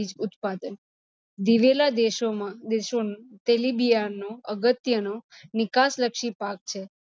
ઉત્પાદન. દિવેલા દેશોનો તેલિબિયાંનો અગત્યનો નિકાસરચી પાક છે.